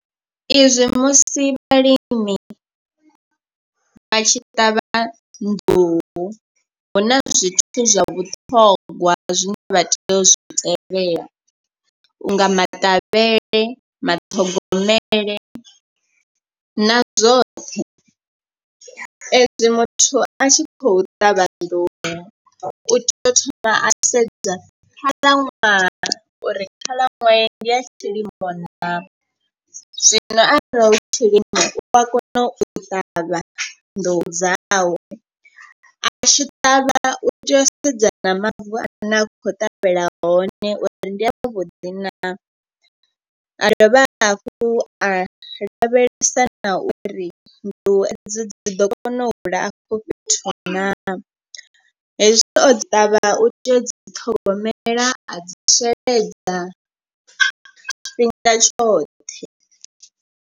I zwi musi vhalimi vha tshi ṱavha nḓuhu huna zwithu zwa vhuṱhongwa zwine vha tea u zwi tevhela. U nga maṱavhele, maṱhogomele na zwoṱhe ezwi muthu a tshi khou ṱavha nḓuhu u tea u thoma a sedza khalaṅwaha uri khalaṅwaha ndi ya tshilimo naa. Zwino arali hu tshilimo u a kona u ṱavha nḓuhu dzawe a tshi ṱavha u tea u sedzana mavu ane a khou ṱavhela hone uri ndi a vhuḓi naa. A dovha hafhu a lavhelesa na uri nḓuhu edzo dzi ḓo kona u hula afho fhethu naa, hezwi o ṱavha u tea u dzi ṱhogomela a dzi sheledza tshifhinga tshoṱhe.